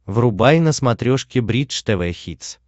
врубай на смотрешке бридж тв хитс